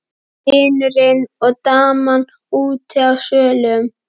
Vinurinn og daman úti á svölum.